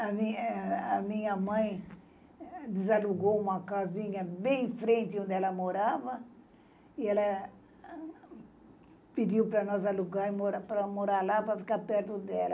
A minha eh, a minha mãe desalugou uma casinha bem em frente onde ela morava, e ela pediu para nós alugarmos para morar lá para ficarmos perto dela.